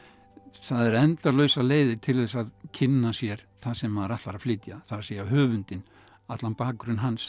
það eru endalausar leiðir til þess að kynna sér það sem maður ætlar að flytja það segja höfundinn allan bakgrunn hans